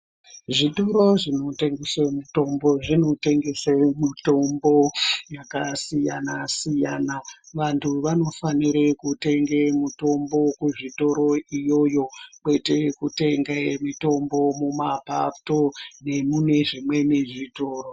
Muzvitoro zvinotengese mitombo zvinotengese mitombo yakasiyana siyana vantu vanofanire kutenge mutombo wekuzvitoro kwete kutenge mitombo mumapato nemuzvimweni zvitoro.